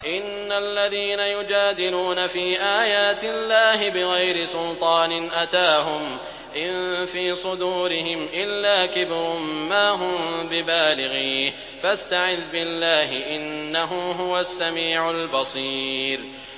إِنَّ الَّذِينَ يُجَادِلُونَ فِي آيَاتِ اللَّهِ بِغَيْرِ سُلْطَانٍ أَتَاهُمْ ۙ إِن فِي صُدُورِهِمْ إِلَّا كِبْرٌ مَّا هُم بِبَالِغِيهِ ۚ فَاسْتَعِذْ بِاللَّهِ ۖ إِنَّهُ هُوَ السَّمِيعُ الْبَصِيرُ